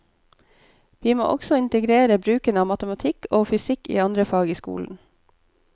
Vi må også integrere bruken av matematikk og fysikk i andre fag i skolen.